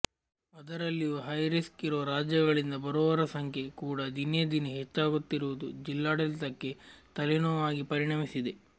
ಅದರಲ್ಲಿಯೂ ಹೈರಿಸ್ಕ್ ಇರುವ ರಾಜ್ಯಗಳಿಂದ ಬರುವವರ ಸಂಖ್ಯೆ ಕೂಡ ದಿನೇ ದಿನೇ ಹೆಚ್ಚಾಗುತ್ತಿರುವುದು ಜಿಲ್ಲಾಡಳಿತಕ್ಕೆ ತಲೆನೋವಾಗಿ ಪರಿಣಮಿಸಿದೆ